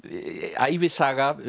ævisaga